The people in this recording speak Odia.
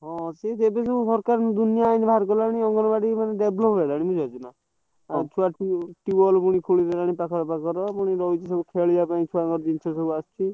ହଁ ସିଏ ଦେବେ ଯୋଉ ସରକାର tubewell ପୁଣି ଖୋଲି ଦେଲାଣି ପାଖରେ ପାଖରେ ।